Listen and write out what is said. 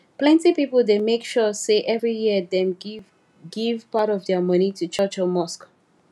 plenty people dey make sure say every year dem give give part of their money to church or mosque